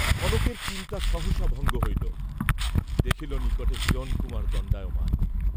কনকের চিন্তা সহসা ভঙ্গ হইল; দেখিল নিকটে হিরণকুমার দণ্ডায়মান।